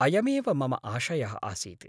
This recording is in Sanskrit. अयमेव मम आशयः आसीत्।